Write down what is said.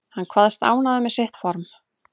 Hann kvaðst ánægður með sitt form